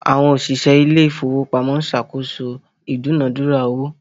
Àwọn òṣìṣẹ́ ilé ìfowópamọ́ ń ṣe àkóso ìdúnàádúrà owó